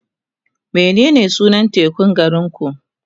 menene sunan tekun garinku?